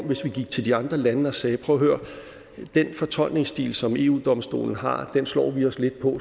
hvis vi gik til de andre lande og sagde prøv at høre den fortolkningsstil som eu domstolen har slår vi os lidt på